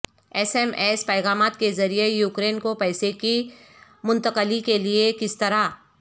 S M S پیغامات کے ذریعے یوکرین کو پیسے کی منتقلی کے لئے کس طرح